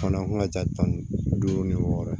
Fana an ka ca tan ni duuru ni wɔɔrɔ ye